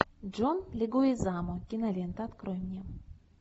джон легуизамо кинолента открой мне